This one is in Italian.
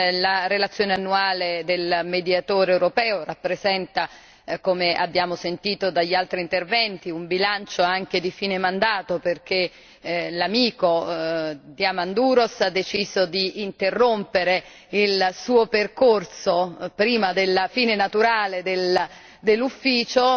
La relazione annuale del Mediatore europeo rappresenta come abbiamo sentito dagli altri interventi un bilancio anche di fine mandato perché l'amico Diamandouros ha deciso di interrompere il suo percorso prima della fine naturale dell'ufficio,